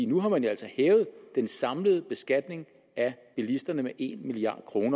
nu har man altså hævet den samlede beskatning af bilisterne med en milliard kr